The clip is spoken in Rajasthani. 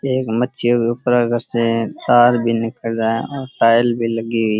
ये मच्छियों की ऊपर से एक तार निकल रा है और टाइल भी लगी हुई --